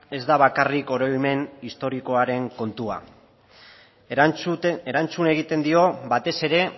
ez da bakarrik oroimen historikoaren kontua erantzun egiten dio batez ere